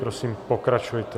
Prosím, pokračujte.